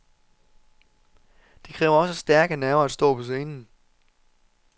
Det kræver også stærke nerver at stå på scenen.